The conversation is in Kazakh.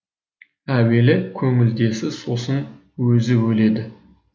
әуелі көңілдесі сосын өзі өледі